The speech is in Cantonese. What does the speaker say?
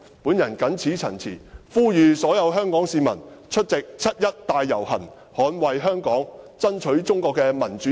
我謹此陳辭，呼籲所有香港市民出席七一大遊行，捍衞香港，爭取中國的民主自由。